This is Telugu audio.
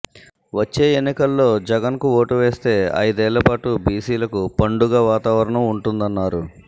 వచ్చే ఎన్నికల్లో జగన్కు ఓటు వేస్తే ఐదేళ్లపాటు బీసీలకు పండుగ వాతావరణం ఉంటుందన్నారు